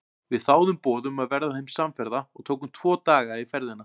Við þáðum boð um að verða þeim samferða og tókum tvo daga í ferðina.